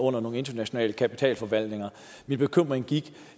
under nogle internationale kapitalforvaltninger min bekymring gik